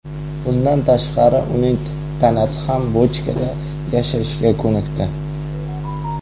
Bundan tashqari uning tanasi ham bochkada yashashga ko‘nikdi.